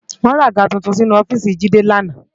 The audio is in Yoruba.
Wò ràgá tútún sinú òfìsí Jide làná